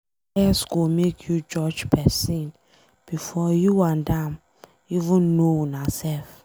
Bias go make you judge pesin before you and am even know unaself.